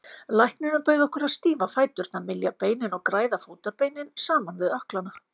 Læknirinn bauð okkur að stífa fæturna, mylja beinin og græða fótarbeinin saman við ökklana.